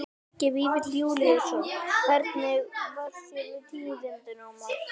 Helgi Vífill Júlíusson: Hvernig varð þér við tíðindin, Ómar?